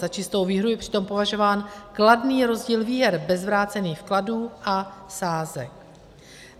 Za čistou výhru je přitom považován kladný rozdíl výher bez vrácených vkladů a sázek.